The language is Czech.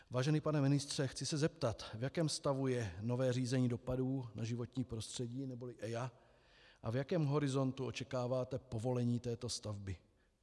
Vážený pane ministře, chci se zeptat, v jakém stavu je nové řízení dopadů na životní prostředí neboli EIA a v jakém horizontu očekáváte povolení této stavby.